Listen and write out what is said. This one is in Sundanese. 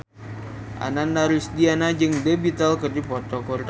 Ananda Rusdiana jeung The Beatles keur dipoto ku wartawan